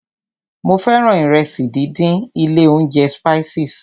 Mo fẹ́ràn ìrẹsì díndín ilé óúnjẹ Spices.